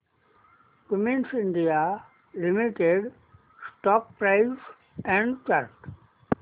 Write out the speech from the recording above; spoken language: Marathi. Cummins India limited stock price and chart